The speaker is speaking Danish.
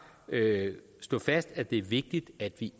slå fast at det er vigtigt at vi